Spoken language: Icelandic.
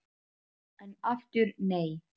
En aftur nei!